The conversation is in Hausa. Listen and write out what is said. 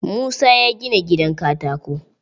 Musa ya gina gidan katako.